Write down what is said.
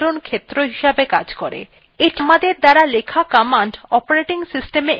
এটি আমাদের দ্বারা লেখা commands operating systemএ execute করত়ে বা চালাতে সাহায্য করে